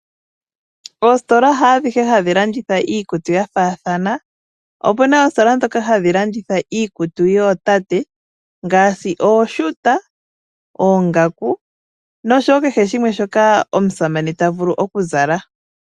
Oositola haadhihe hadhi landitha iikutu ya faathana. Opuna oositola ndhoka hadhi landitha iikutu yootate ngaashi ooshuuta, oongaku nosho wo kehe shimwe shoka omusamane ta vulu okuzala.